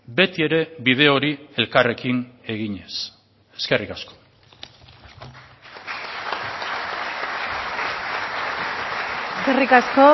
beti ere bide hori elkarrekin eginez eskerrik asko eskerrik asko